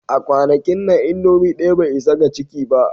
A kwanakin nan, indomie ɗaya bai isa ga ciki ba